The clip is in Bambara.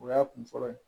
O y'a kun fɔlɔ ye